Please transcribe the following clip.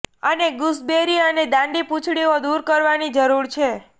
અમે ગૂસબેરી અને દાંડી પૂંછડીઓ દૂર કરવાની જરૂર છે